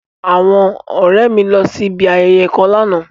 Awọn ọrẹ mi lọ si ibi ayẹyẹ kan làná